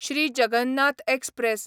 Shri Jagannath express